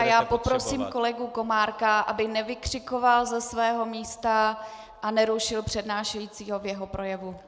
A já poprosím kolegu Komárka, aby nevykřikoval ze svého místa a nerušil přednášejícího v jeho projevu.